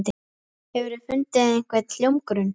Hefurðu fundið einhvern hljómgrunn?